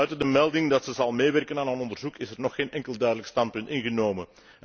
Buiten de melding dat ze zal meewerken aan het onderzoek, is er nog geen enkel duidelijk standpunt ingenomen.